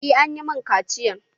Eh an yi mun ƙaciyan